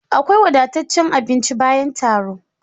Akwai wadataccen abinci bayan taro